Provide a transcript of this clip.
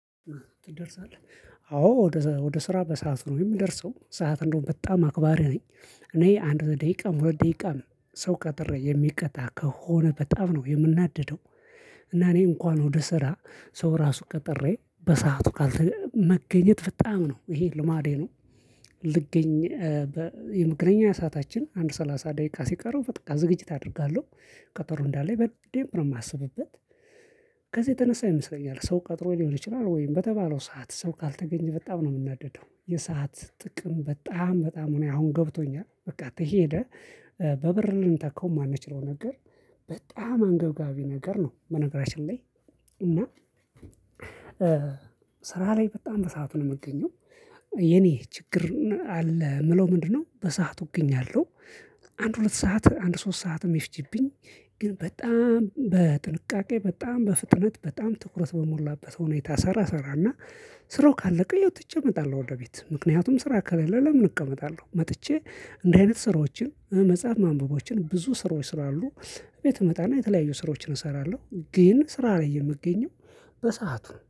ትደርሳለህ አዎ ወደ ስራ በሰአት ነው የምደርሰው ሰዓት እንደው በጣም አክባሪ ነኝ። እኔ አንድ ደቂቃም ሁለት ደቂቃም ሰው ቀጥሬ የሚቀጣ ከሆነ በጣም ነው የምናደደው። እና እኔ እንኳን ወደ ስራ ሰው ራሱ ቀጥሬ በሰአቱ ካልተገኘ መገኘት በጣም ነው ይሄ ልማዴ ነው። ልገኝ የመገናኛ ሰዓታችን አንድ ሰላሳ ደቂቃ ሲቀረው በቃ ዝግጅት አደርጋለው። ቀጠሮ እንዳለ በደንብ ነው ማስብበት። ከዚህ የተነሳ ይመስለኛል ሰው ቀጥሮ ሊሆን ይችላል ወይም በተባለው ሰዓት ሰው ካልተገኘ በጣም ነው የምናደደው። የሰዓት ጥቅም በጣም በጣም እኔ አሁን ገብቶኛል። በቃ ተሄደ በብር ልንተካው የማንችለው ነገር። በጣም አንገብጋቢ ነገር ነው በነገራችን ላይ። እና ስራ ላይ በጣም በሰአቱ ነው የምገኘው። የኔ ችግር አለ የምለው ምንድነው? በሰአቱ እገኛለው። አንድ ሁለት ሰዓት አንድ ሶስት ሰዓትም ይፍጂብኝ። ግን በጣም በጥንቃቄ በጣም በፍጥነት በጣም ትኩረት በሞላበት ሁኔታ ሰራ ሰራና። ስራው ካለቀ ትቼ እመጣለው ወደ ቤት። ምክንያቱም ስራ ከሌለ ለምን እቀመጣለሁ? መጥቼ እንደዚህ አይነት ስራዎችን መጽሐፍ ማንበቦችን ብዙ ስራ ስራ አሉ። ቤት እመጣና የተለያዩ ስራዎችን እሰራለሁ ግን ስራ ላይለ የምገኘው በሰአቱ ነው